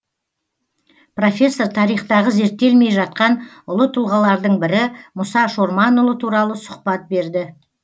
профессор тарихтағы зерттелмей жатқан ұлы тұлғалардың бірі мұса шорманұлы туралы сұхбат берді